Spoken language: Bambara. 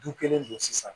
Du kelen don sisan